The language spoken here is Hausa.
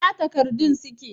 Ina takardun suke?